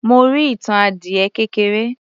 Mo rí ìtàn adiẹ kékeré